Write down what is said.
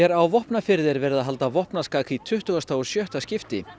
á Vopnafirði er verið að halda vopnaskak í tuttugasta og sjötta skipti